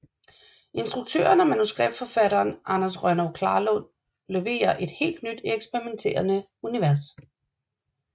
Instruktøren og manuskripforfatteren Anders Rønnow Klarlund leverer et helt nyt eksperimenterende univers